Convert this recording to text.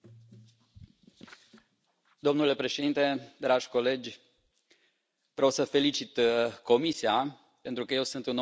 Domnule președinte, dragi colegi, vreau să felicit Comisia pentru că eu sunt un om care vin din administrația locală.